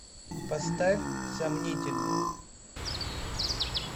поставь сомнительный